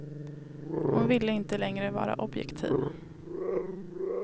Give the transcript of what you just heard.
Hon ville inte längre vara objektiv.